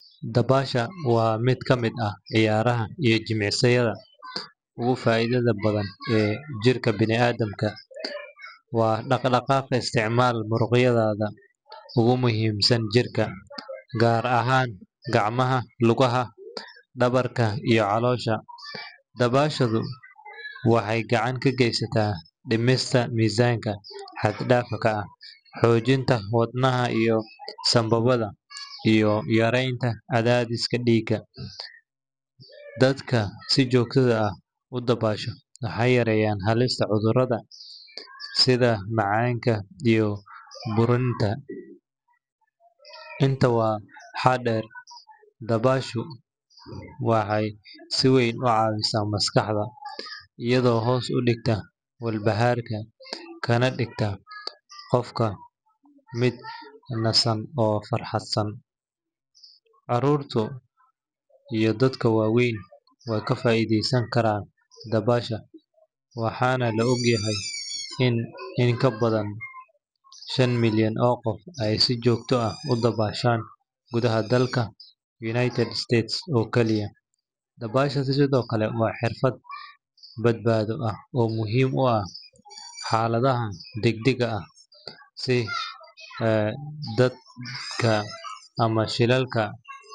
Dabaasha waa mid ka mid ah ciyaaraha iyo jimicsiyada ugu faa’iidada badan ee jirka bini’aadamka. Waa dhaqdhaqaaq isticmaala muruqyada ugu muhiimsan jirka, gaar ahaan gacmaha, lugaha, dhabarka iyo caloosha. Dabaashadu waxay gacan ka geysataa dhimista miisaanka xad-dhaafka ah, xoojinta wadnaha iyo sambabada, iyo yareynta cadaadiska dhiigga. Dadka si joogto ah u dabaasha waxay yareeyaan halista cudurrada sida macaanka iyo buurnida. Intaa waxaa dheer, dabaashadu waxay si weyn u caawisaa maskaxda, iyadoo hoos u dhigta walbahaarka kana dhigta qofka mid nasan oo faraxsan. Carruurta iyo dadka waaweynba way ka faa’iideysan karaan dabaasha, waxaana la ogyahay in in ka badan shan milyan oo qof ay si joogto ah u dabaashaan gudaha dalka United States oo kaliya. Dabaasha sidoo kale waa xirfad badbaado ah oo muhiim u ah xaaladaha degdegga ah sida daadadka ama shilalka.